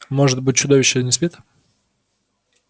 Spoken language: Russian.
может быть чудовище не спит